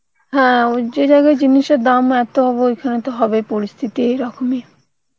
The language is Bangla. হ্যাঁ ওই যে জায়গায় জিনিসের দাম এত হবে সেখানে তো হবেই পরিস্থিতি এরকমই